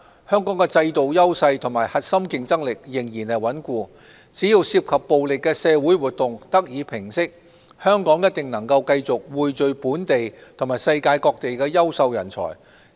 香港的制度優勢和核心競爭力仍然穩固，只要涉及暴力的社會活動得以平息，香港一定能夠繼續匯聚本地及世界各地的優秀人才。